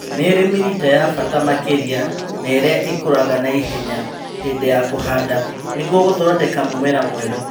Nĩirĩ mĩrita ya bata makĩria naĩrĩa ĩkũraga naihenya hĩndĩ ya kũhanda nĩguo gũthondeka mũmera mwerũ